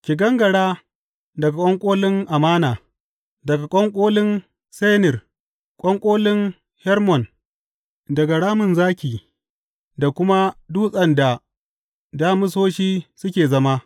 Ki gangara daga ƙwanƙolin Amana, daga ƙwanƙolin Senir, ƙwanƙolin Hermon, daga ramin zaki da kuma dutsen da damisoshi suke zama.